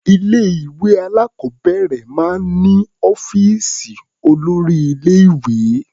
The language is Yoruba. Ilé-ìwé alákọ̀ọ́bẹ̀rẹ̀ máa ń ní ọ́fíìsì olórí-ilé-ìwé.